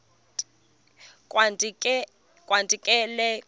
kanti ee kho